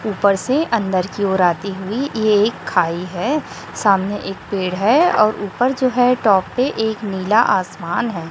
ऊपर से अंदर की ओर आती हुई ये एक खाई है सामने एक पेड़ है और ऊपर जो है टॉप पे एक नीला आसमान है।